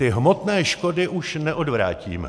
Ty hmotné škody už neodvrátíme.